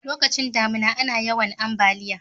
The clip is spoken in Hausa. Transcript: lokacin damina ana yawan ambaliya